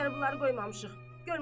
Səndən ötrü bunları qoymamışıq.